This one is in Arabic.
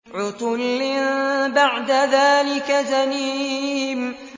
عُتُلٍّ بَعْدَ ذَٰلِكَ زَنِيمٍ